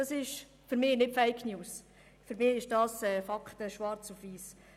Das sind für mich nicht Fake News, es sind Fakten schwarz auf weiss.